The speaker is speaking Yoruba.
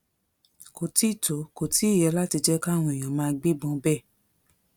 kò tí ì tó kò tí ì yẹ láti jẹ káwọn èèyàn máa gbébọn bẹ́ẹ̀